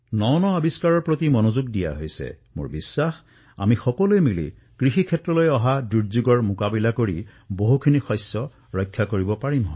non আৱিষ্কাৰৰ প্ৰতি ধ্যান দিছে আৰু মোৰ বিশ্বাস যে আমি সকলোৱে মিলি আমাৰ কৃষি ক্ষেত্ৰত এই যি সংকট আহিছে তাৰ সৈতেও মোকাবিলা কৰিব পাৰিম